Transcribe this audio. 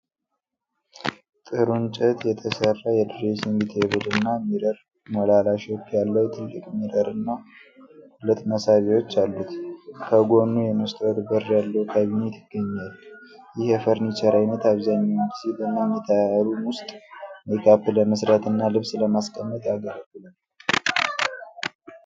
ጥሩ እንጨት የተሰራ የዶሬሲንግ ቴብል እና ሚረር ሞላላ ሼፕ ያለው ትልቅ ሚረር እና ሁለት መሳቢያዎች አሉት። ከጎኑ የመስታወት በር ያለው ካቢኔት ይገኛል። ይህ የፈረኒቸር አይነት አብዛኛውን ጊዜ በመኝታ ሩም ውስጥ ሜካፕ ለመስራት እና ልብስ ለማስቀመጥ ያገለግላል?